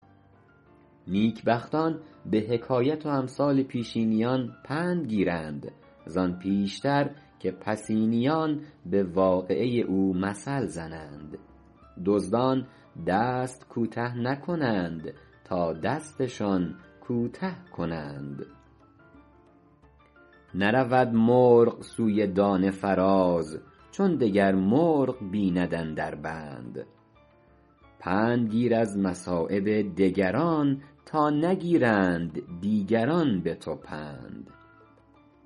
نیکبختان به حکایت و امثال پیشینیان پند گیرند زآن پیشتر که پسینیان به واقعه او مثل زنند دزدان دست کوته نکنند تا دستشان کوته کنند نرود مرغ سوی دانه فراز چون دگر مرغ بیند اندر بند پند گیر از مصایب دگران تا نگیرند دیگران به تو پند